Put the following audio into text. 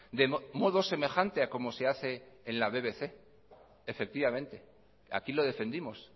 de modo semejante a como se hace en la bbc efectivamente aquí lo defendimos